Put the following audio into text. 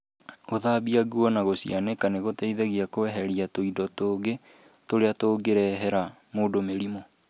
Gũthambia nguo na gũcĩanĩka nĩ gũteithagia kweheria tũindo tũngĩ tũrĩa tũngĩrehera mũndũ mũrimũ.